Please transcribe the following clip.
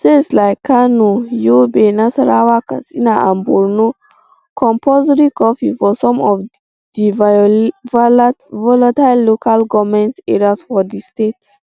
states like kano yobe nasarawa katsina and borno compulsory curfew for some of di volatile local goment areas for di states